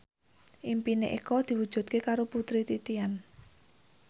impine Eko diwujudke karo Putri Titian